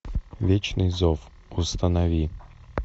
вечный зов установи